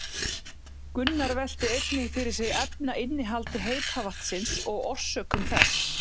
Gunnar velti einnig fyrir sér efnainnihaldi heita vatnsins og orsökum þess.